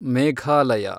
Meghalaya